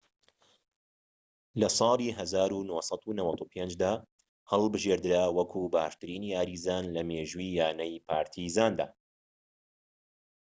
لە ١٩٩٥ دا هەڵبژێدرا وەکو باشترین یاریزان لە مێژووی یانەی پارتیزاندا